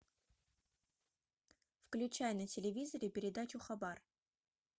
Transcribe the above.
включай на телевизоре передачу хабар